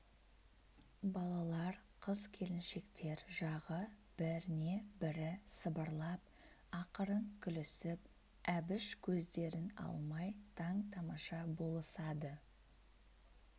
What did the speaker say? балалар қыз-келіншектер жағы біріне-бірі сыбырлап ақырын күлісіп әбіш көздерін алмай таң-тамаша болысады